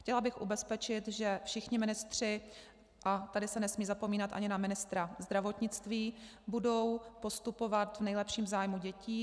Chtěla bych ubezpečit, že všichni ministři - a tady se nesmí zapomínat ani na ministra zdravotnictví - budou postupovat v nejlepším zájmu dětí.